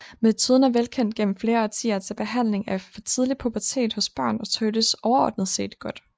Metoden er velkendt gennem flere årtier til behandling af for tidlig pubertet hos børn og tåles overordnet set godt